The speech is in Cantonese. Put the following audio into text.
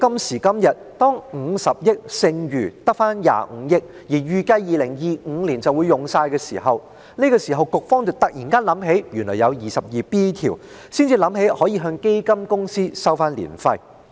時至今日，當50億元只剩25億元時，並且預計2025年便會花光，積金局突然想起第 22B 條，可以引用來向基金公司收取註冊年費。